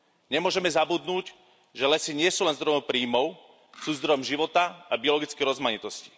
Nemôžeme zabudnúť, že lesy nie sú len zdrojom príjmov, sú zdrojom života a biologickej rozmanitosti.